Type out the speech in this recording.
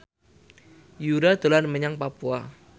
Yura dolan menyang Papua